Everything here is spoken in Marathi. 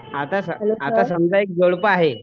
आता आता समजा एक जोडपं आहे